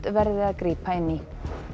verði að grípa inn í